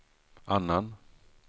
annan